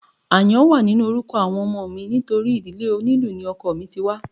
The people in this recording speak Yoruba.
Àyàn wà nínú orúkọ àwọn ọmọ mi nítorí ìdílé onílù ni ọkọ mi ti wá